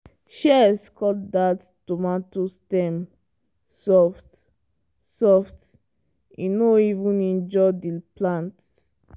shears cut that tomato stem soft-soft e no even injure the plant.